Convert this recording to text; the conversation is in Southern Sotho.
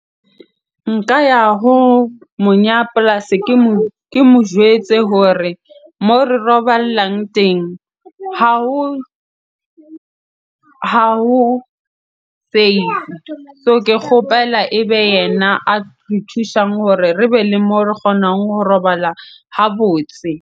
Nka ya ho monya polasi ke mo jwetse hore moo re roballang teng ha ho save. So ke kgopela ebe yena a re thusang hore re be le moo re kgonang ho robala ha botse.